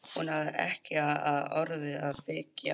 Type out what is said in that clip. Hún hafði ekki á öðru að byggja.